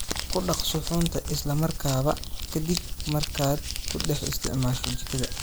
Ku dhaq suxuunta isla markaaba ka dib markaad ku dhex isticmaasho jikada.